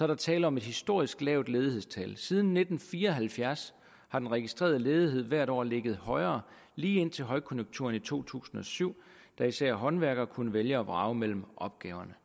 der tale om et historisk lavt ledighedstal siden nitten fire og halvfjerds har den registrerede ledighed hvert år ligget højere lige indtil højkonjunkturen i to tusind og syv hvor især håndværkere kunne vælge og vrage mellem opgaverne